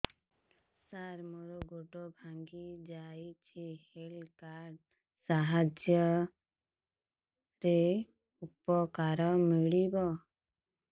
ସାର ମୋର ଗୋଡ଼ ଭାଙ୍ଗି ଯାଇଛି ହେଲ୍ଥ କାର୍ଡ ସାହାଯ୍ୟରେ ଉପକାର ମିଳିବ